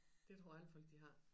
Det tror jeg alle folk de har